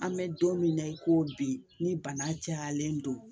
An bɛ don min na i ko bi ni bana jalen don